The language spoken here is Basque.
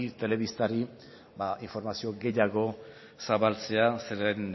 telebistari informazio gehiago zabaltzea zeren